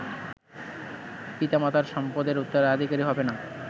পিতামাতার সম্পদের উত্তরাধিকারী হবেনা